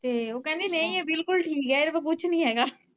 ਤੇ ਓਹ ਕਹਿੰਦੀ ਨਹੀਂ ਇਹ ਬਿਲਕੁਲ ਠੀਕ ਐ ਇਦੇ ਕੋ ਕੁੱਝ ਨੀ ਹੈਗਾ।